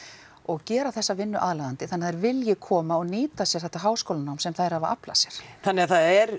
og gera þessa vinnu aðlaðandi þannig að þær vilji koma og nýta sér þetta háskólanám sem þær hafa aflað sér þannig að það er